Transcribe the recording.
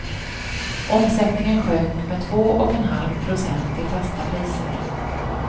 Omsättningen sjönk med två och en halv procent i fasta priser.